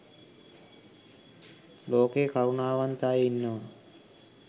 ලෝකයේ කරුණාවන්ත අය ඉන්නවා